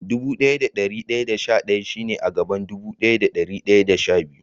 Dubu daya da dari daya da sha daya shi ne a gaban dubu daya da dari daya da sha biyu.